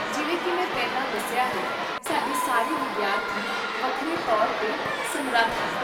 ਜਿਵੇਂ ਕੀ ਮੈਂ ਪਹਿਲਾਂ ਦੱਸਿਆ ਹੈ, ਸਾਡੇ ਸਾਰੇ ਵਿਦਿਆਰਥੀ ਵੱਖਰੇ ਤੌਰ 'ਤੇ ਸਮਰੱਥ ਹਨ